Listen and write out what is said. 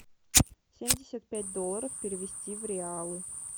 семьдесят пять долларов перевести в реалы